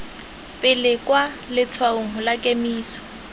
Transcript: pele kwa letshwaong la kemiso